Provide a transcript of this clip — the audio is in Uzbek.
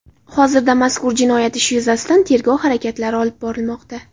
Hozirda mazkur jinoyat ishi yuzasidan tergov harakatlari olib borilmoqda.